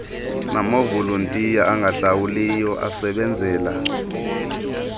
namavolontiya angahlawulwayo asebenzela